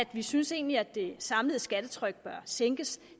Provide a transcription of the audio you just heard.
vi synes egentlig at det samlede skattetryk bør sænkes